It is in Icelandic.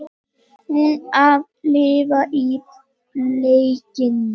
Hún að lifa í blekkingu.